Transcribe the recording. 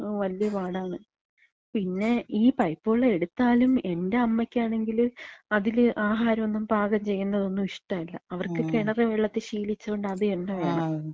വല്യ പാടാണ്. പിന്നെ ഈ പൈപ്പ് വെള്ളം എട്ത്താലും. എന്‍റ അമ്മയ്ക്കാണെങ്കില് അതില് ആഹാരൊന്നും പാകം ചെയ്യ്ന്നതൊന്നും ഇഷ്ടല്ല. അവർക്ക് കെണറ് വെള്ളത്തി ശീലിച്ചോണ്ട് അതെന്നെ വേണം.